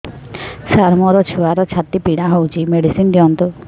ସାର ମୋର ଛୁଆର ଛାତି ପୀଡା ହଉଚି ମେଡିସିନ ଦିଅନ୍ତୁ